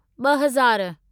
ॿहज़ार